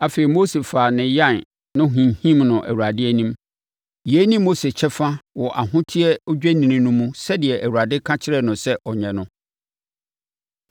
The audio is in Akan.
Afei Mose faa ne yan no hinhim no Awurade anim; yei ne Mose kyɛfa wɔ ahoteɛ odwennini no mu sɛdeɛ Awurade ka kyerɛɛ no sɛ ɔnyɛ no.